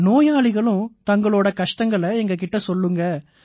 நோயாளிகளும் தங்களோட கஷ்டங்களை எங்க கிட்ட சொல்லுவாங்க